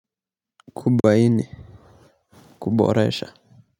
Kubaini kuboresha.